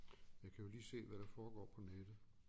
Jeg kan jo lige se hvad der foregår på nettet